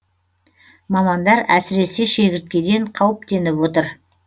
мамандар әсіресе шегірткеден қауіптеніп отыр